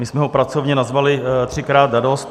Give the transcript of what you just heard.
My jsme ho pracovně nazvali "třikrát a dost".